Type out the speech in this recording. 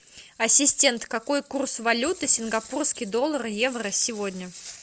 ассистент какой курс валюты сингапурский доллар евро сегодня